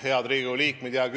Head Riigikogu liikmed!